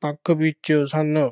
ਪੱਖ ਵਿੱਚ ਸਨ।